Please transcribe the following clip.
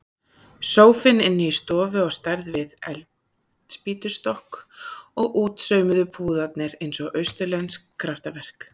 Sófinn inni í stofu á stærð við eldspýtnastokk og útsaumuðu púðarnir eins og austurlensk kraftaverk.